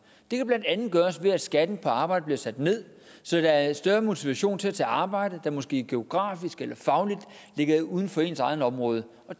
det kan blandt andet gøres ved at skatten på arbejde bliver sat ned så der er større motivation til at tage arbejde der måske geografisk eller fagligt ligger uden for ens eget område